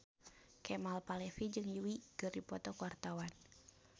Kemal Palevi jeung Yui keur dipoto ku wartawan